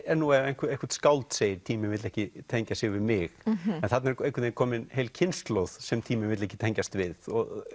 er nú ef eitthvert skáld segir tíminn vill ekki tengja sig við mig en þarna er einhvern veginn komin heil kynslóð sem tíminn vill ekki tengjast við